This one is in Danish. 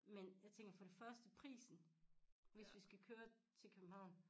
Men jeg tænker for det første prisen hvis vi skal køre til København